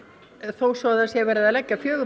þó svo að það sé verið að leggja fjögurra